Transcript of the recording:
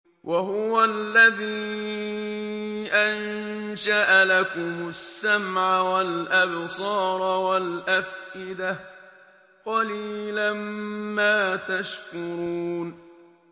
وَهُوَ الَّذِي أَنشَأَ لَكُمُ السَّمْعَ وَالْأَبْصَارَ وَالْأَفْئِدَةَ ۚ قَلِيلًا مَّا تَشْكُرُونَ